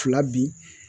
Fila bi